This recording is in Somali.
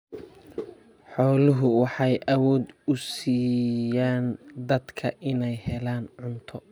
Xooluhu waxay awood u siiyaan dadka inay helaan cunto.